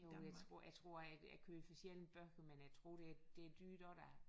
Jo jeg tror jeg tror at jeg køber sjældent bøger men jeg tror det det er dyrt også da